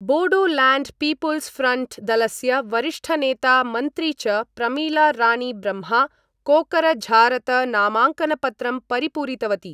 Bodoland people's front दलस्य वरिष्ठनेता मन्त्री च प्रमिला रानी ब्रह्मा कोकरझारत नामांकनपत्रं परिपूरितवती।